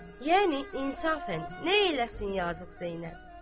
Yəni insafən nə eləsin yazıq Zeynəb?